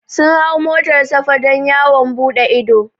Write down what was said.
Sun hau motar safa don yawon buɗe ido